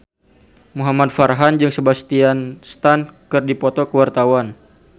Muhamad Farhan jeung Sebastian Stan keur dipoto ku wartawan